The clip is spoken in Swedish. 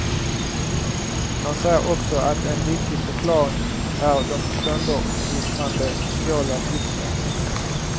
Han säger också att en viktig förklaring är de söndervittrande sociala skyddsnäten.